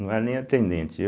não era nem atendente eu.